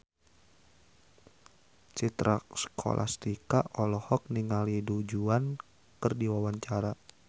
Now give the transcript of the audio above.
Citra Scholastika olohok ningali Du Juan keur diwawancara